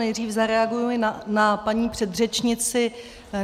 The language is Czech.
Nejdřív zareaguji na paní předřečnici.